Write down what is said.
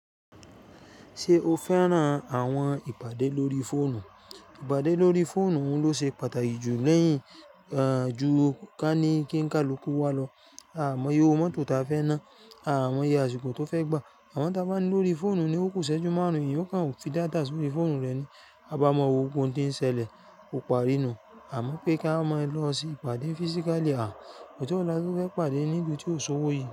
Ṣé o fẹ́ràn àwọn ìpàdé lórí fóònù? Ìpàdé lórí fóònù ló ṣe pàtàkì jù lẹ́yìn, er, ju kí á ní kí ń kalukú wá lọ. A mọ iye owó mótò tí a fẹ́ ná, a máa mọ iye àsiko tó fẹ́ gbà. Àmo tí a bá ní lórí fóònù ni ó kúsẹ́ jù márùn-ún ènìyàn okan fi data sórí fóònù rẹ̀ ni. A bá mọ wo ohun kohun ti ń ṣẹlẹ̀, ó parí nù. Àmọ́ pé ká máa lọ sí ìpàdé physically à, ọjọ́ wo la to fẹ́ pàdé níbi tí òṣòwò yìí.